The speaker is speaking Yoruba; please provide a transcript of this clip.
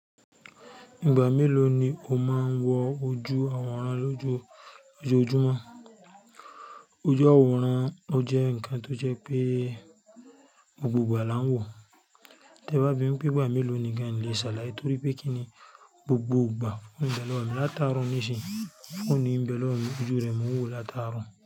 Ìgbà mélòó ni o máa ń wo ojú àwòrán lójoojúmọ́? Ojú àwòrán ò jẹ́ ǹkan tó jẹ́ pé gbogbo ìgbà là ń wò o tí ẹ bá bi mí pé ìgbà mélòó ni gan, n lè ṣàlàyé torí pé kí ni gbogbo ìgbà phone ń bẹ l'ọ́wọ́ mi látaárọ̀ ní ṣìn yíi, phone mi ń bẹ lọ́wọ́ mi, ojú rẹ̀ n mo ń wò látàárọ̀